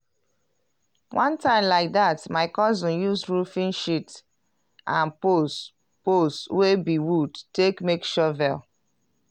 one time like dat my cousin use roofing sheets and poles poles wey be wood take make shovel.